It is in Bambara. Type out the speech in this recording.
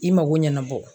I mago ɲɛnabɔ